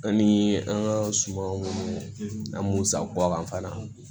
An ni an ka suma minnu an b'u sago a kan fana